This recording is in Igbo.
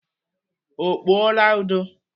Ọ kpụọla ụdọ?